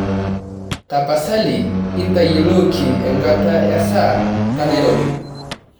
tapasali intayioloki enkata esaa tenairobi